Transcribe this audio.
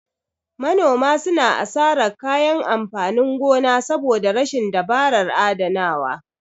Manoma suna asarar kayan amfanin gona saboda rashin dabarar adanawa.